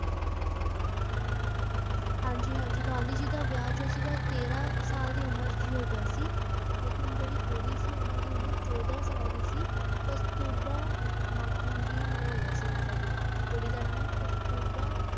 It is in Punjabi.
ਹਾਂਜੀ ਹਾਂਜੀ ਗਾਂਧੀ ਜੀ ਦਾ ਵਿਆਹ ਜੋ ਸੀਗਾ ਤੇਰਾਂ ਸਾਲ ਦੀ ਉਮਰ ਵਿੱਚ ਹੀ ਹੋ ਗਿਆ ਸੀ ਲੇਕਿੰਨ ਜਿਹੜੀ ਕੁੜੀ ਸੀ ਉਹਨਾਂ ਦੀ ਉਮਰ ਚੌਦਾਂ ਸਾਲ ਦੀ ਸੀ, ਕਸਤੁਰਬਾ ਮਾਖਣ ਜੀ ਨਾਲ ਹੋਇਆ ਸੀ ਇਹਨਾਂ ਦਾ ਵਿਆਹ ਕੁੜੀ ਦਾ ਨਾਮ ਕਸਤੁਰਬਾ